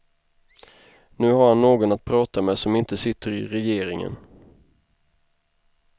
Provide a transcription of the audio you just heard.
Nu har han någon att prata med som inte sitter i regeringen.